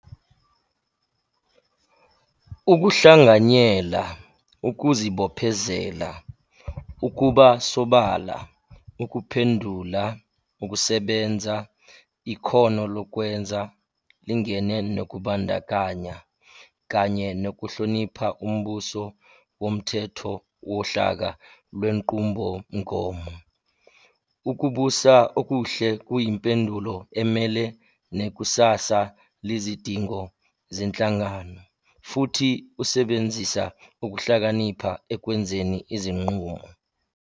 Ukuhlanganyela, ukuzibophezela, ukuba sobala, ukuphendula, ukusebenza, ikhono lokwenza, lingene nokubandakanya, kanye nokuhlonipha umbuso womthetho wohlaka lwenqubomgomo. Ukubusa okuhle kuyimpendulo emele nekusasa lezidingo zenhlangano, futhi usebenzisa ukuhlakanipha ekwenzeni izinqumo.